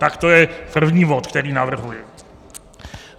Tak to je první bod, který navrhuji.